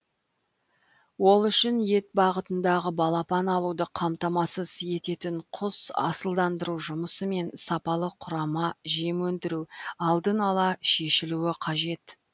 ол үшін ет бағытындағы балапан алуды қамтамасыз ететін құс асылдандыру жұмысы мен сапалы құрама жем өндіру алдын ала шешілуі қажет